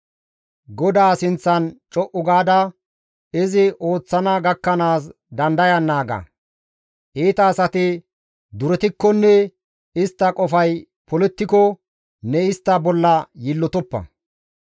GODAA sinththan co7u gaada izi ooththana gakkanaas dandayan naaga; iita asati duretikkonne istta qofay polettiko ne istta bolla yiillotoppa.